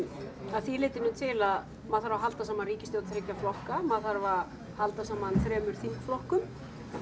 að því leytinu til að maður þarf að halda saman ríkisstjórn þriggja flokka maður þarf að halda saman þremur þingflokkum